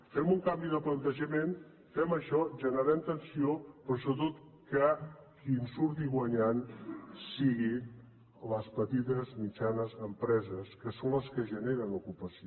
fem un canvi de plantejament fem això generem tensió però sobretot que qui en surti guanyant siguin les petites mitjanes empreses que són les que generen ocupació